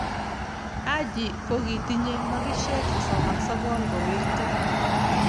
Haji ko kitinyi makishe sosom a sokol ko werto.